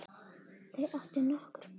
Þau áttu nokkur börn.